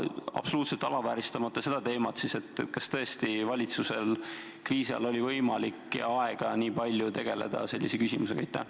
Absoluutselt alavääristamata seda teemat: kas tõesti valitsusel kriisiajal oli võimalik ja aega nii palju tegeleda sellise küsimusega?